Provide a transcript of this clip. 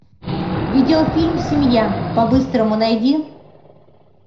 видеофильм семья по быстрому найди